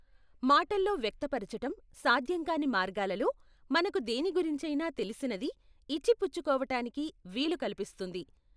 మాటల్లో వ్యక్తపరచటం సాధ్యం కాని మార్గాలలో మనకు దేని గురించైనా తెలిసినది ఇచ్చిపుచ్చుకోవటానికి వీలు కల్పిస్తుంది.